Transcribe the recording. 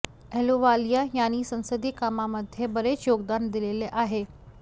अहलुवालिया यांनी संसदीय कामामध्ये बरेच योगदान दिलेले आहे